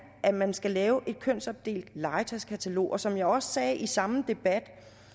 at man skal lave et kønsopdelt legetøjskatalog og som jeg også sagde i samme debat